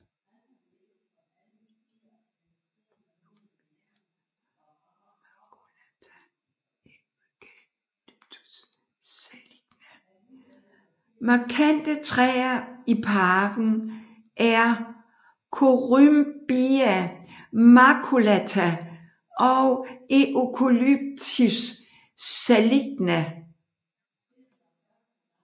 Markante træer i parken er Corymbia maculata og Eucalyptus saligna